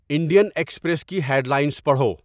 Indian Express کی headlines پڑھو